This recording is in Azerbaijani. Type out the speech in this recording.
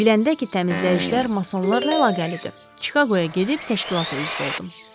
Biləndə ki təmizləyicilər masonlarla əlaqəlidir, Çikaqoya gedib təşkilata üzv oldum.